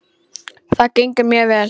Það gengur mjög vel.